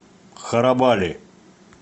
харабали